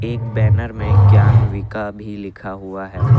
एक बैनर में ज्ञान विका भी लिखा हुआ है।